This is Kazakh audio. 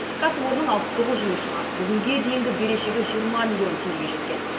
кәсіпорынның алпыс тоғыз жұмысшыға бүгінге дейінгі берешегі жиырма миллион теңгеге жеткен